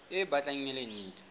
e batlang e le ntle